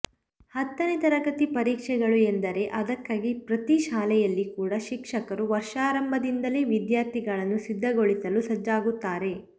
ಹತ್ತನೇ ತರಗತಿ ಪರೀಕ್ಷೆಗಳು ಎಂದರೆ ಅದಕ್ಕಾಗಿ ಪ್ರತಿ ಶಾಲೆಯಲ್ಲಿ ಕೂಡಾ ಶಿಕ್ಷಕರು ವರ್ಷಾರಂಭದಿಂದಲೇ ವಿದ್ಯಾರ್ಥಿಗಳನ್ನು ಸಿದ್ಧಗೊಳಿಸಲು ಸಜ್ಜಾಗುತ್ತಾರೆ